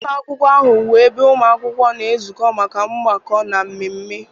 Ụlọ akwụkwọ ahụ bụ ebe ụmụ akwụkwọ na-ezukọ maka mgbakọ, na mmemme